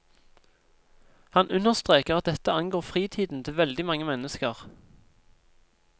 Han understreker at dette angår fritiden til veldig mange mennesker.